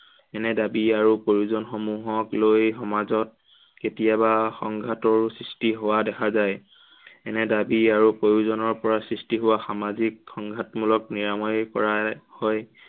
এনে দাবী আৰু প্ৰয়োজন সমূহক লৈ সমাজত কেতিয়াবা সংঘাতৰো সৃষ্টি হোৱা দেখা যায়। এনে দাবী আৰু প্ৰয়োজনৰ পৰা সামাজিক সংঘাতমূলক নিৰাময় কৰা হয়